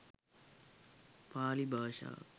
පාලි භාෂාව